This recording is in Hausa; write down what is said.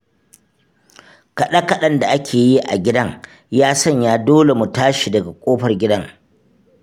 Kaɗe-kaɗen da ake yi a gidan, ya sanya dole mu tashi daga ƙofar gidan.